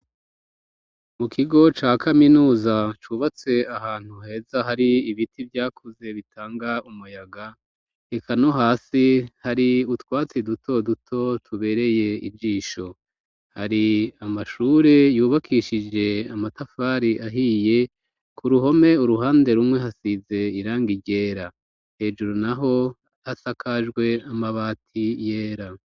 Mu kigo ca kaminuza cubatse ahantu heza hari ibiti vyakuze bitanga umuyaga, eka no hasi hari utwatsi duto duto tubereye ijisho, hari amashure yubakishije amatafari ahiye ku ruhome uruhande rumwe hasi size iranga iryera, hejuru na ho hasakajwe amabati yera.